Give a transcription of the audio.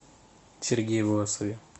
сергее власове